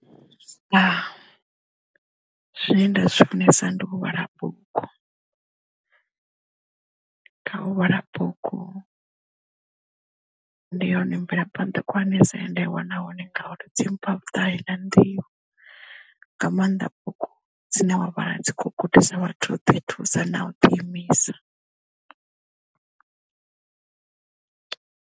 Zwine nda zwi funesa ndi u vhala bugu kha u vhala bugu ndi hone mvelaphanḓa khulwanesa he nda iwana hone ngauri dzi mpha vhuṱali na nḓivho nga maanḓa bugu dzine dzavha dzi kho gudisa vhathu u ḓi thusa na u ḓi imisa.